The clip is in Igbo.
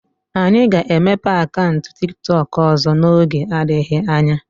Anyị ga-emepe akaụntụ tiktok ọzọ n'oge adịghị anya.